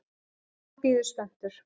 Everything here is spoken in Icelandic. Og hann bíður spenntur.